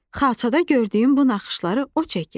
Xalçada gördüyün bu naxışları o çəkib.